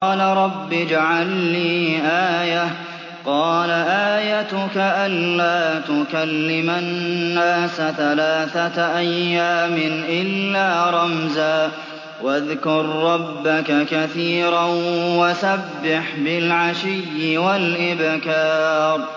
قَالَ رَبِّ اجْعَل لِّي آيَةً ۖ قَالَ آيَتُكَ أَلَّا تُكَلِّمَ النَّاسَ ثَلَاثَةَ أَيَّامٍ إِلَّا رَمْزًا ۗ وَاذْكُر رَّبَّكَ كَثِيرًا وَسَبِّحْ بِالْعَشِيِّ وَالْإِبْكَارِ